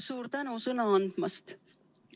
Suur tänu sõna andmast!